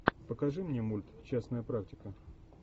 покажи мне мульт частная практика